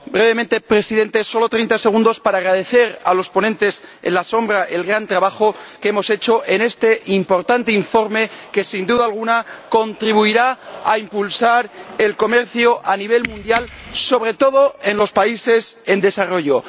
Señor Presidente, brevemente, solo treinta segundos para agradecer a los ponentes alternativos el gran trabajo hecho en este importante informe que, sin duda alguna, contribuirá a impulsar el comercio a nivel mundial, sobre todo en los países en desarrollo.